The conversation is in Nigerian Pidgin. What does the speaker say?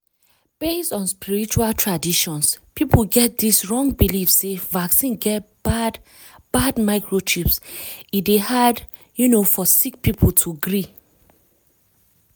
based on spiritual traditions people get dis wrong believe sey vaccine get bad bad microchips e dey hard um for sick people to agree.